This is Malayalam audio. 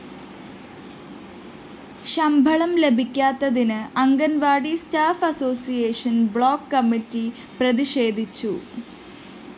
ശമ്പളം ലഭിക്കാത്തതില്‍ anganwadi staff association block committee പ്രതിഷേധിച്ചു